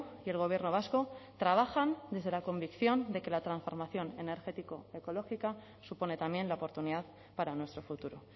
y el gobierno vasco trabajan desde la convicción de que la transformación energético ecológica supone también la oportunidad para nuestro futuro